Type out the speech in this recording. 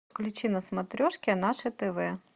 включи на смотрешке наше тв